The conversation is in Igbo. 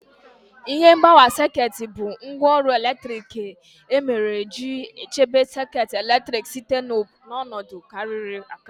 Ihe mgbawa sekit bụ ngwaọrụ eletrik nke e mere iji chebe sekit eletrik site na ọnọdụ kariri akari